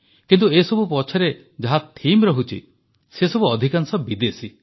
କିନ୍ତୁ ଏସବୁ ପଛରେ ଯାହା ଥିମ୍ ରହୁଛି ସେସବୁ ଅଧିକାଂଶ ବିଦେଶୀ